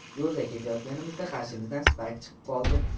Yo‘lda ketayotganimizda qarshimizdan Spark chiqib qoldi.